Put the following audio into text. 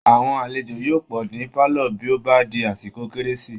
Aàwọn alejò yóò pọ̀ ní pálọ̀ bí ó bá di àsìkò kérési